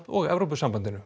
og Evrópusambandinu